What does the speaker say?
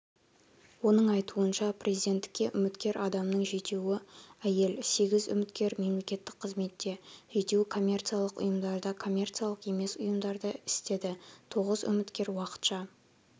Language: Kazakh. оның айтуынша президенттікке үміткер адамның жетеуі әйел сегіз үміткер мемлекеттік қызметте жетеуі коммерциялық ұйымдарда коммерциялық емес ұйымдарда істеді тоғыз үміткер уақытша